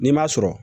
N'i ma sɔrɔ